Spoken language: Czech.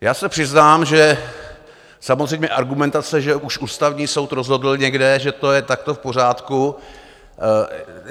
Já se přiznám, že samozřejmě argumentace, že už Ústavní soud rozhodl někde, že to je takto v pořádku...